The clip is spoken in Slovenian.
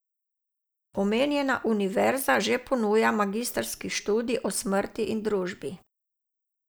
Omenjena univerza že ponuja magistrski študij o smrti in družbi.